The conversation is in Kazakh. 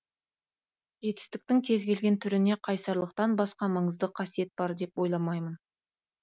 жетістіктің кез келген түріне қайсарлықтан басқа маңызды қасиет бар деп ойламаймын